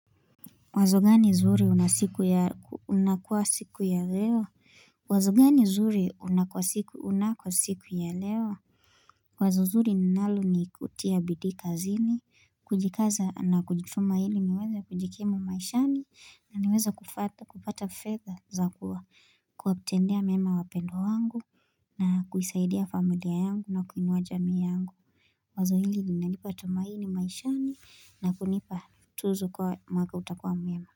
Mwazo gani zuri una siku ya unakua siku ya leo? Mwazo gani zuri unakua siku unakua siku ya leo? Mwazo zuri ninalo ni kutia bidii kazini, kujikaza na kujituma ili niweze kujikimu maishani, na niweze kupata fedha za kuwa kuwatendea wema wapendwa wangu, na kuisaidia familia yangu na kuinuwa jamii yangu. Wazo hili linanipa tumaini maishani na kunipa tuzu kuwa mwaka utakua mwema.